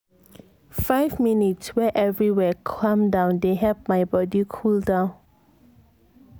five minutes wey everywhere calm dey help my body cool down.